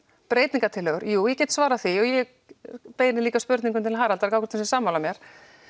breytingartillögu jú ég get svarað því ég beini líka spurningu til Haraldar gá hvort hann sé sammála mér